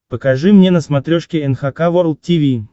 покажи мне на смотрешке эн эйч кей волд ти ви